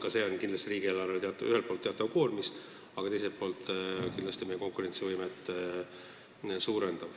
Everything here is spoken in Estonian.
Ka see on riigieelarvele ühelt poolt teatav koormis, aga teiselt poolt see kindlasti meie konkurentsivõimet suurendab.